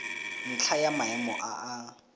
ntlha ya maemo a a